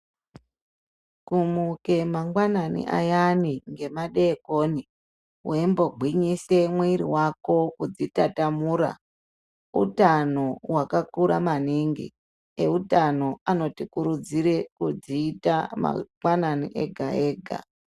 Kumuke mangwanani ayani ngemadeikoni, weimbogwinyise mwiri wako kudzitatamura utano hwakakura maningi. Eutano anotikurudzire kudziita mangwanani ega ega.